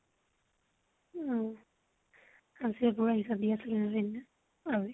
আ । আজি গৈ হিচাপ নিকাচ